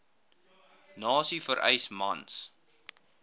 nasie vereis mans